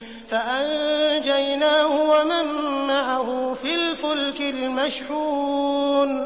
فَأَنجَيْنَاهُ وَمَن مَّعَهُ فِي الْفُلْكِ الْمَشْحُونِ